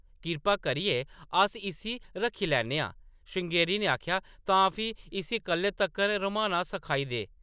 कृपा करियै अस इस्सी रक्खी लैन्ने आं ! श्रृंगेरी ने आखेआ, “ तां फ्ही, इस्सी कल्लै तक्कर रम्हाना सखाई दे ।